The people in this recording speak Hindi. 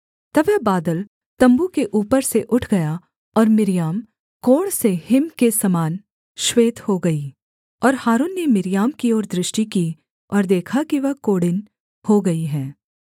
तब वह बादल तम्बू के ऊपर से उठ गया और मिर्याम कोढ़ से हिम के समान श्वेत हो गई और हारून ने मिर्याम की ओर दृष्टि की और देखा कि वह कोढ़िन हो गई है